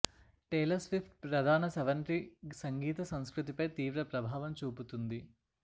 Taylor Swift ప్రధాన స్రవంతి సంగీత సంస్కృతిపై తీవ్ర ప్రభావం చూపుతుంది